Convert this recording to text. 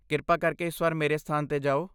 ਕਿਰਪਾ ਕਰਕੇ ਇਸ ਵਾਰ ਮੇਰੇ ਸਥਾਨ 'ਤੇ ਜਾਓ।